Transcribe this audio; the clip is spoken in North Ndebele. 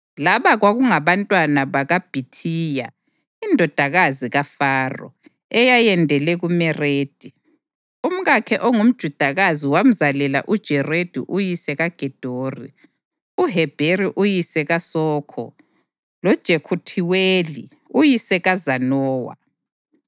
Laba kwakungabantwana bakaBhithiya indodakazi kaFaro, eyayendele kuMeredi. Umkakhe ongumJudakazi wamzalela uJeredi uyise kaGedori, uHebheri uyise kaSokho, loJekuthiweli uyise kaZanowa.